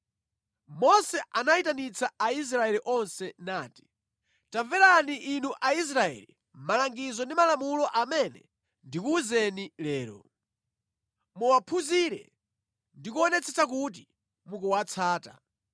Mose anayitanitsa Aisraeli onse nati: Tamverani inu Aisraeli, malangizo ndi malamulo amene ndikuwuzeni lero. Muwaphunzire ndi kuonetsetsa kuti mukuwatsata.